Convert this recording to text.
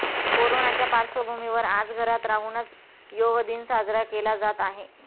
कोरोनाच्या पार्श्वभूमीवर आज घरात राहूनच योह दिन साजरा केला जात आहे